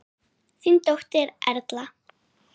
Þín dóttir Erla.